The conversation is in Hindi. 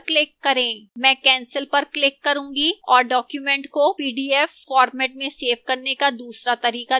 मैं cancel पर click करूंगी और document को pdf format में सेव करने का दूसरा तरीका दिखाऊंगी